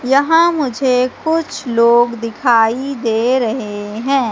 यहां मुझे कुछ लोग दिखाई दे रहे हैं।